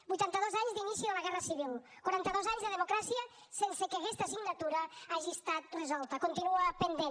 vuitanta dos anys d’inici de la guerra civil quaranta dos anys de democràcia sense que aquesta assignatura hagi estat resolta continua pendent